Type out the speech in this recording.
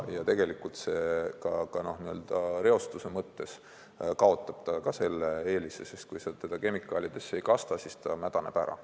Tegelikult ka reostuse mõttes kaotab ta selle eelise, sest kui sa teda kemikaalidesse ei kasta, siis ta mädaneb ära.